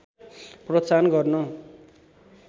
प्रोत्साहन गर्नु